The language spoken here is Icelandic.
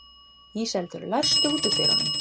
Íseldur, læstu útidyrunum.